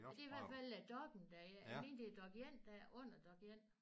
Ja det er i hvert fald dokken der jeg mener det er Dokk1 der under Dokk1